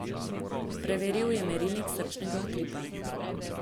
Preveril je merilnik srčnega utripa.